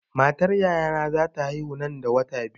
Matar yayana za ta haihu nan da wata biyu.